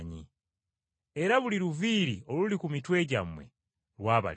Era buli luviiri oluli ku mitwe gyammwe lwabalibwa.